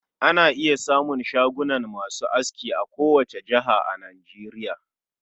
Ana iya samun shagunan masu aski a ko wata jihar a Nageriya.